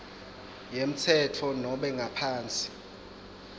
yemtsetfo nobe ngaphansi